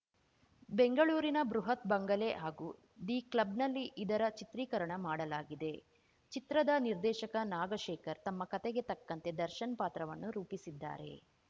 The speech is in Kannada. ಬೆಂಗಳೂರಿನ ಬೃಹತ್‌ ಬಂಗಲೆ ಹಾಗೂ ದಿ ಕ್ಲಬ್‌ನಲ್ಲಿ ಇದರ ಚಿತ್ರೀಕರಣ ಮಾಡಲಾಗಿದೆ ಚಿತ್ರದ ನಿರ್ದೇಶಕ ನಾಗಶೇಖರ್‌ ತಮ್ಮ ಕತೆಗೆ ತಕ್ಕಂತೆ ದರ್ಶನ್‌ ಪಾತ್ರವನ್ನು ರೂಪಿಸಿದ್ದಾರೆ